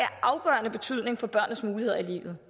afgørende betydning for børnenes muligheder i livet